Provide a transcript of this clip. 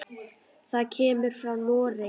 Það kemur frá Noregi.